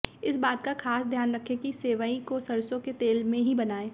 इस बात का खास ध्यान रखें कि सेवई को सरसों के तेल में ही बनाएं